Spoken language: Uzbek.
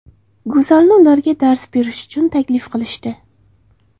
Go‘zalni ularga dars berish uchun taklif qilishdi.